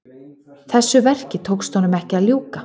Þessu verki tókst honum ekki að ljúka.